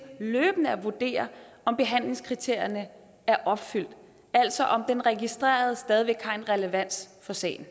løbende at vurdere om behandlingskriterierne er opfyldt altså har den registrerede stadig relevans for sagen